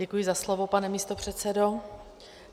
Děkuji za slovo, pane místopředsedo.